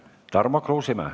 Tarmo Kruusimäe.